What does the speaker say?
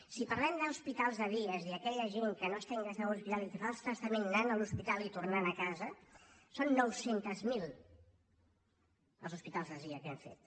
si parlem d’hospitals de dia és a dir aquella gent que no està ingressada en hospital i que fa el tractament anant a l’hospital i tornant a casa són nou cents miler els hospitals de dia que hem fet